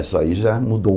Isso aí já mudou.